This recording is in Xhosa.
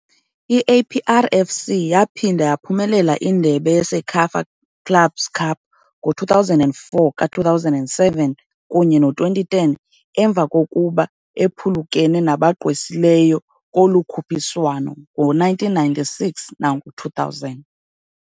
I-APR FC yaphinda yaphumelela indebe ye-CECAFA Clubs Cup ngo-2004, ka-2007, kunye no-2010 emva kokuba ephulukene nabagqwesileyo kolu khuphiswano ngo-1996 nango-2000.